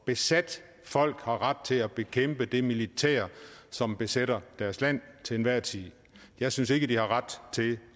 besat folk har ret til at bekæmpe det militær som besætter deres land til enhver tid jeg synes ikke de har ret til